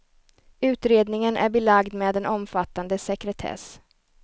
Utredningen är belagd med en omfattande sekretess.